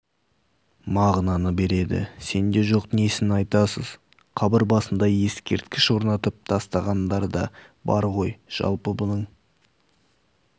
мағынаны бередісенде жоқ несін айтасыз қабір басына ескерткіш орнатып тастағандар да бар ғой жалпы бұның